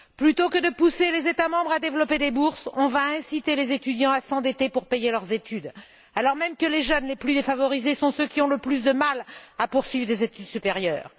Plutôt que de pousser les États membres à développer des bourses, on va inciter les étudiants à s'endetter pour payer leurs études, alors même que les jeunes les plus défavorisés sont ceux qui ont le plus de mal à poursuivre des études supérieures.